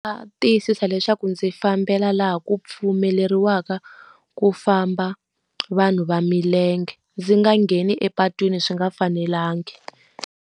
Tiyisisa leswaku ndzi fambela laha ku pfumeleriwaka ku famba vanhu va milenge, ndzi nga ngheni epatwini swi nga fanelangi.